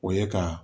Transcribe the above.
O ye ka